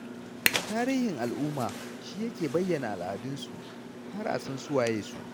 Tarihin al'umma, shi yake bayyana al'adunsu, har a san su waye su.